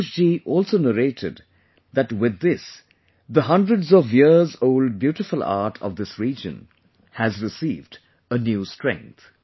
Santosh ji also narrated that with this the hundreds of years old beautiful art of this region has received a new strength